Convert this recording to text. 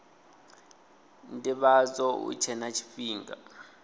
ndivhadzo hu tshe na tshifhinga